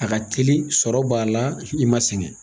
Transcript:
A ka teli sɔrɔ b'a la i ma sɛgɛn.